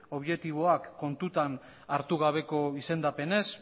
objektiboak kontutan hartu gabeko izendapenez